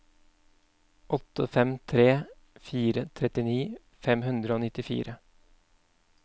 åtte fem tre fire trettini fem hundre og nittifire